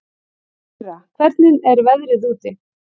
Gurra, hvernig er veðrið úti?